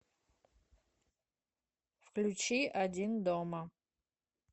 включи один дома